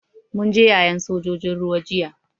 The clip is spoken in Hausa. Mun je yayen sojojin ruwa jiya.